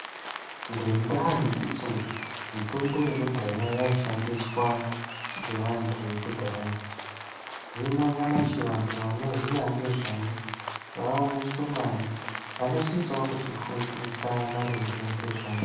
Ngendaa yekuti mitombo yekudhaya yaishandiswa ngevantu vekudhaya, hino nyamashi, vantu vanoziya ngezvayo vaavashomani, vanosisewo kutifundisa maringe ngezvayo.